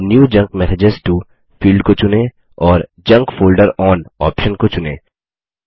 move new junk message to field को चुनें और जंक फोल्डर ओन ऑप्शन को चुनें